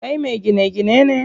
Kai me gine gine ne?